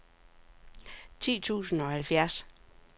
ti tusind og halvfjerds